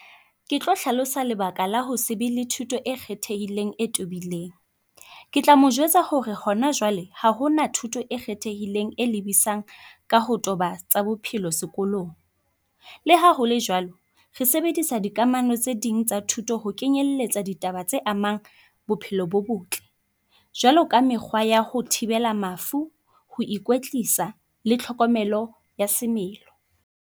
Ke tlo hlalosa lebaka la ho se be le thuto e kgethehileng e tobileng. Ke tla mo jwetsa hore hona jwale ha hona thuto e kgethehileng e lebisang ka ho toba tsa bophelo sekolong. Le ha hole jwalo, re sebedisa dikamano tse ding tsa thuto ho kenyelletsa ditaba tse amang bophelo bo botle. Jwalo ka mekgwa yaho thibela mafu. Ho ikwetlisa le tlhokomelo ya semelo.